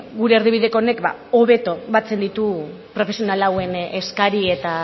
gure erdibideko honek hobeto batzen ditu profesional hauen eskari eta